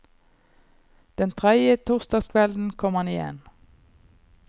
Den tredje torsdagskvelden kom han igjen.